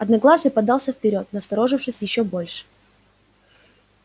одноглазый подался вперёд насторожившись ещё больше